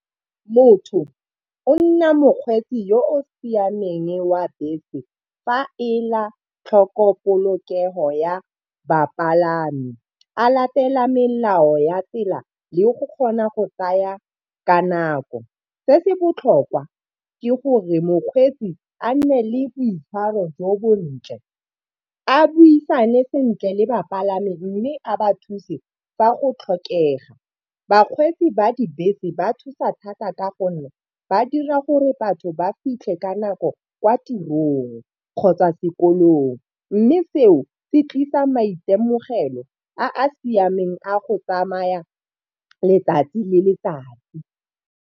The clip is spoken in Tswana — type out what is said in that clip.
Motho o nna mokgweetsi yo o siameng wa bese fa ela tlhoko polokego ya bapalami. A latela melao ya tsela le go kgona go tsaya ka nako. Se se botlhokwa ke gore mokgweetsi a nne le boitshwaro jo bontle, a buisane sentle le bapalami mme a ba thuse fa go tlhokega. Bakgweetsi ba dibese ba thusa thata ka gonne ba dira gore batho ba fitlhe ka nako kwa tirong kgotsa sekolong, mme seo se tlisa maitemogelo a a siameng a go tsamaya letsatsi le letsatsi.